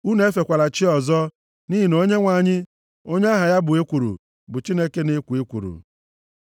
Unu efela chi ọzọ, nʼihi na Onyenwe anyị, onye aha ya bụ Ekworo, bụ Chineke na-ekwo ekworo.